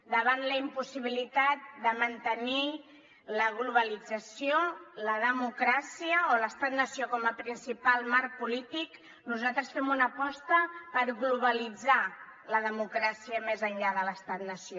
davant la impossibilitat de mantenir la globalització la democràcia o l’estat nació com a principal marc polític nosaltres fem una aposta per globalitzar la democràcia més enllà de l’estat nació